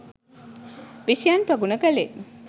විෂයයන් ප්‍රගුණ කළේ.